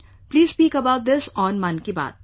Please speak about this on Mann ki Baat